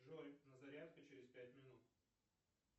джой на зарядку через пять минут